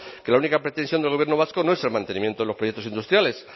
que la única pretensión del gobierno vasco no es el mantenimiento de los proyectos industriales